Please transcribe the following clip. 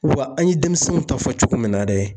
Wa an ye denmisɛnnunw ta fɔ cogo min na dɛ